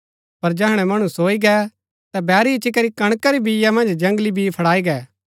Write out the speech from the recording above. पर जैहणै मणु सोई गै ता बैरी इच्ची करी कणका री बीआ मन्ज जंगली बी फड़ाई गै